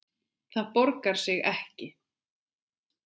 Það borgar sig ekki